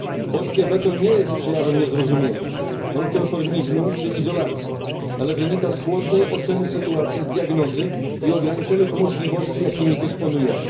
Polskie weto nie jest przejawem niezrozumienia, nonkonformizmu czy izolacji, ale wynika z chłodnej oceny sytuacji, z diagnozy i ograniczonych możliwości, jakimi dysponujemy.